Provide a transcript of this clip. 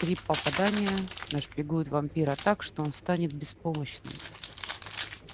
три попадания нашпигуют вампира так что он станет беспомощным